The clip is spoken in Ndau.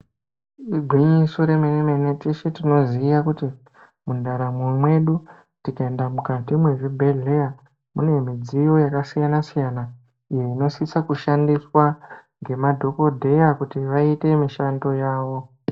Igwinyiso remene mene teshe tinoziya kuti mundaramo mwedu tikaenda mukati mezvibhedhlera munemudziyo yakasiyana siyana inosisa kushandiswa ngemadhokodheya kuti vaite mishando yawo.